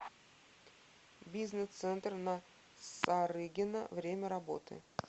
бизнес центр на сарыгина время работы